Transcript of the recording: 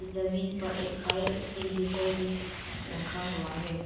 जमीन पर fire extinguisher भी रखा हुआ है।